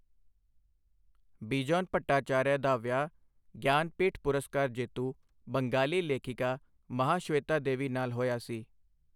ਬਿਜੋਨ ਭੱਟਾਚਾਰੀਆ ਦਾ ਵਿਆਹ ਗਿਆਨਪੀਠ ਪੁਰਸਕਾਰ ਜੇਤੂ ਬੰਗਾਲੀ ਲੇਖਿਕਾ ਮਹਾਸ਼ਵੇਤਾ ਦੇਵੀ ਨਾਲ ਹੋਇਆ ਸੀ।